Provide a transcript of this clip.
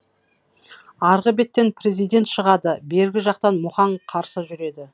арғы беттен президент шығады бергі жақтан мұхаң қарсы жүреді